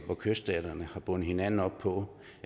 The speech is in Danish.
hvor kyststaterne har bundet hinanden op på